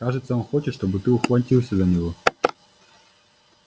кажется он хочет чтобы ты ухватился за него